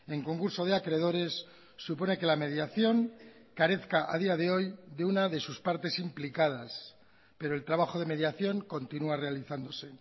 en concurso de acreedores supone que la mediación carezca a día de hoy de una de sus partes implicadas pero el trabajo de mediación continúa realizándose